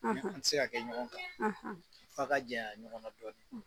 An tɛ se ka kɛ ɲɔgɔn kan f'a ka janya ɲɔgɔn na dɔɔni.